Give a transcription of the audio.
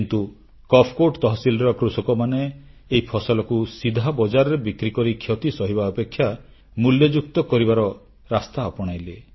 କିନ୍ତୁ କପକୋଟ୍ ତହସିଲର କୃଷକମାନେ ଏହି ଫସଲକୁ ସିଧା ବଜାରରେ ବିକ୍ରିକରି କ୍ଷତି ସହିବା ଅପେକ୍ଷା ମୂଲ୍ୟଯୁକ୍ତ କରିବାର ରାସ୍ତା ଆପଣାଇଲେ